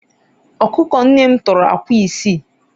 ọkụkọ nne m tọrọ akwa isii